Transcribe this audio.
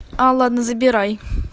алла ну забирай